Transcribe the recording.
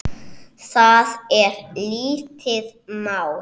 Það er lítið mál.